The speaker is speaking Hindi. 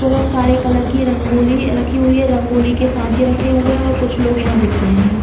बहोत सारे कलर की रंगोली रखी हुई है। रंगोली के साँचे रखे हुए हैं। कुछ लोग यहाँ दिख रहे हैं।